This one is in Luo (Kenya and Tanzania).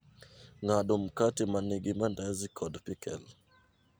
ng'ado mkate manigi mandazi kod pikel